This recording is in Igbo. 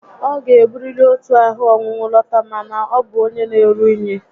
Ọ ga-eburiri otu ahụ ọnwụnwụ lọta maka na ọ bu onyé na-eru unyi